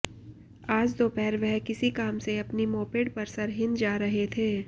आज दोपहर वह किसी काम से अपनी मोपेड पर सरहिंद जा रहे थे